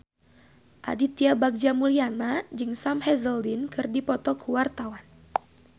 Aditya Bagja Mulyana jeung Sam Hazeldine keur dipoto ku wartawan